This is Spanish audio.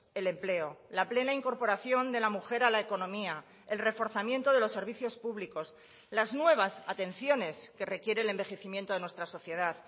el empleo la plena incorporación de la mujer a la economía el reforzamiento de los servicios públicos las nuevas atenciones que requiere el envejecimiento de nuestra sociedad